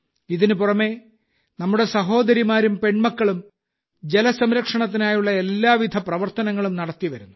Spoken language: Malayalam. ഇതിനുപുറമെ നമ്മുടെ സഹോദരിമാരും പെൺമക്കളും ജലസംരക്ഷണത്തിനായുള്ള എല്ലാവിധ ശ്രമങ്ങളും നടത്തിവരുന്നു